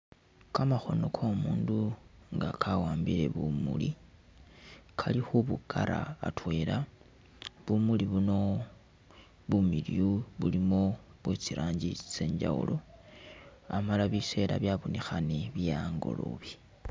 Kamakhomo ko mundu nga kawambile bumuli kali khubu kara atwela bumuli buno bumiliyu bulimo bwe tsiranji kye njawulo amala biseela byanonekhane bye angolobe.